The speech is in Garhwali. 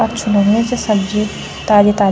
अच्छू लगणी च सब्जी ताजी ताजी।